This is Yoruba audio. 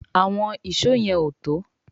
Àwọn Ìṣó yen o tó